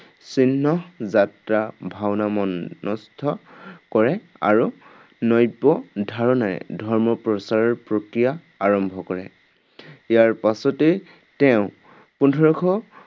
চিহ্নযাত্ৰা ভাওনা মনস্থ কৰে আৰু নব্য ধাৰণাৰে ধৰ্ম প্ৰচাৰৰ প্ৰক্ৰিয়া আৰম্ভ কৰে। ইয়াৰ পাছতেই তেওঁ, পোন্ধৰশ